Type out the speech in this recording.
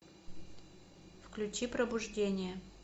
включи пробуждение